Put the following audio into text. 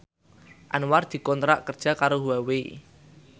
Anwar dikontrak kerja karo Huawei